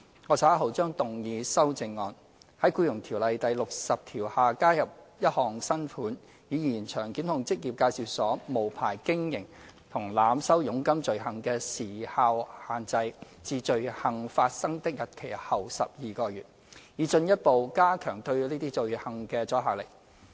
我稍後將動議修正案，在《僱傭條例》第60條下加入一項新款，以延長檢控職業介紹所無牌經營和濫收佣金罪行的時效限制至罪行發生的日期後12個月，以進一步加強對這些罪行的阻嚇力。